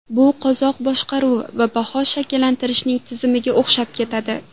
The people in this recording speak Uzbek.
Bu qozoq boshqaruvi va baho shaklantirishning tizimiga o‘xshab ketadi.